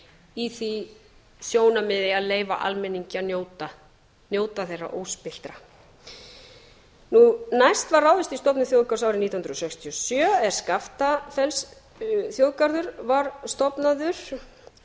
í því sjónarmiði að leyfa almenningi að njóta þeirra óspilltra næst var ráðist í stofnun þjóðgarðs árið nítján hundruð sextíu og sjö er skaftafellsþjóðgarður var stofnaður